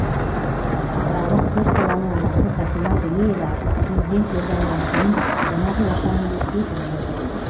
атыраулық төрт баланың анасы фатима төлеева президент жолдауынан кейін қонақ үй ашамын деп бекініп отыр